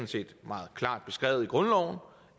set meget klart beskrevet i grundloven